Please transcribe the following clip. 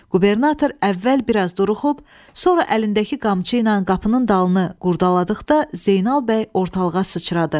Qubernator əvvəl biraz duruxub, sonra əlindəki qamçı ilə qapının dalını qurdaladıqda Zeynal bəy ortalığa sıçradı.